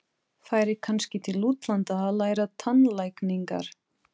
Færi kannski til útlanda að læra tannlækningar.